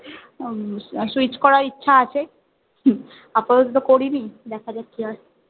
Switch করার ইচ্ছা আছে আপাতত তো করিনি দেখা যাক কি হয়